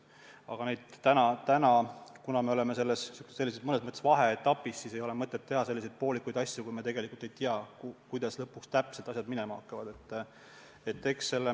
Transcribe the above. Aga meil on praegu mõnes mõttes vaheetapp ja ei ole mõtet teha poolikuid asju, kui me tegelikult ei tea, kuidas lõpuks täpselt asjad minema hakkavad.